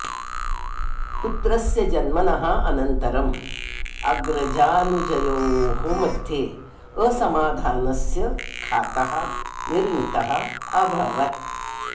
पुत्रस्य जन्मनः अनन्तरम् अग्रजानुजयोः मध्ये असमाधानस्य खातः निर्मितः अभवत्